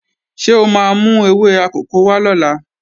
Ṣé o máa mú ewé akòko wá lọ́la?